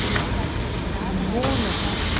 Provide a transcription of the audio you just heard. Todo lugar que vocês moravam, ela ia para uma nova